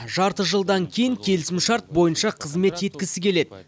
жарты жылдан кейін келісімшарт бойынша қызмет еткісі келеді